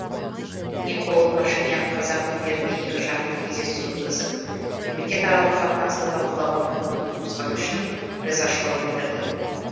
никол пашинян қазақ лидеріне екіжақты кездесу өткізіп мемлекетаралық қатынасты талқылауға мүмкіндік туғызғаны үшін ризашылығын білдірді